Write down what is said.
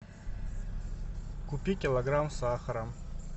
купи килограмм сахара